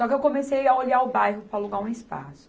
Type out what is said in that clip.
Só que eu comecei a olhar o bairro para alugar um espaço.